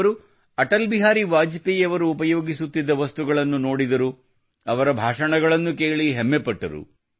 ಅವರು ಅಟಲ್ ಬಿಹಾರಿ ವಾಜಪೇಯಿ ಅವರು ಉಪಯೋಗಿಸುತ್ತಿದ್ದ ವಸ್ತುಗಳನ್ನು ನೋಡಿದರು ಅವರ ಭಾಷಣಗಳನ್ನು ಕೇಳಿ ಹೆಮ್ಮೆಪಟ್ಟರು